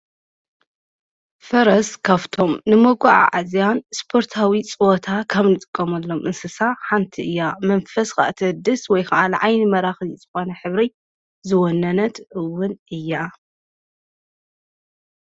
ፈረስ ካፍቶም ንመጕዓ ኣዝያን ስጶርታዊ ጽወታ ካም ንጽቆመትሎም እንስሳ ሓንቲ እያ መንፈስ እቲ ድስ ወይ ከዓል ዓይኒ መራኽ ዚጽኾነ ኅብሪ ዝወነነትውን እያ።